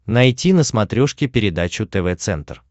найти на смотрешке передачу тв центр